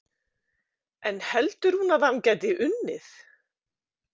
En heldur hún að hann gæti unnið?